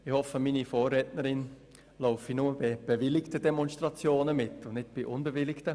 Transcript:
Ich hoffe, meine Vorrednerin läuft nur bei bewilligten Demonstrationen mit und nicht bei unbewilligten!